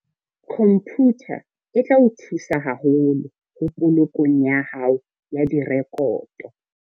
Khomputha e tla o thusa haholo ho polokong ya hao ya direkoto.